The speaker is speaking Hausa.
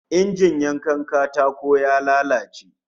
Injin yankan katako ya lalace